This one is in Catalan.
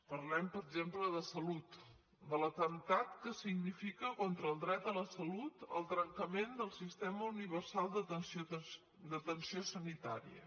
parlem per exemple de salut de l’atemptat que significa contra el dret a la salut el trencament del sistema universal d’atenció sanitària